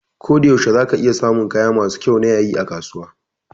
Koda yaushe za ka iya samun kaya masu kyau na yayi a kasuwa